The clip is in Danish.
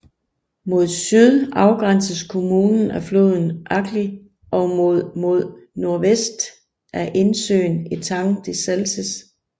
Mod syd afgrænses kommunen af floden Agly og mod mod nordvest af indsøen Etang de Salses